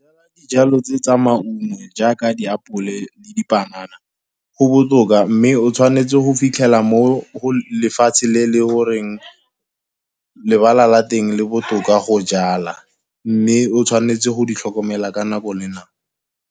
Dijalo tse tsa maungo jaaka diapole le dipanana go botoka, mme o tshwanetse go fitlhela mo lefatshe le le goreng, lebala la teng le botoka go jala. Mme o tshwanetse go di tlhokomela ka nako le nako.